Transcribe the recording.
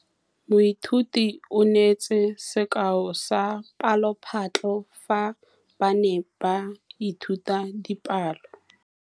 Moithuti o neetse sekaô sa palophatlo fa ba ne ba ithuta dipalo.